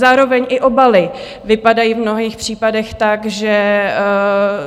Zároveň i obaly vypadají v mnohých případech tak, že